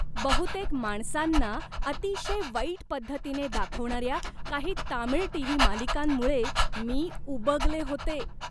बहुतेक माणसांना अतिशय वाईट पद्धतीने दाखवणाऱ्या काही तामिळ टी.व्ही. मालिकांमुळे मी उबगले होते.